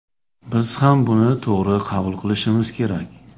Biz ham buni to‘g‘ri qabul qilishimiz kerak”.